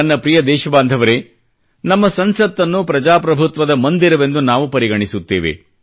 ನನ್ನ ಪ್ರಿಯ ದೇಶಬಾಂಧವರೆ ನಮ್ಮ ಸಂಸತ್ನ್ನು ಪ್ರಜಾಪ್ರಭುತ್ವದ ಮಂದಿರವೆಂದು ನಾವು ಪರಿಗಣಿಸುತ್ತೇವೆ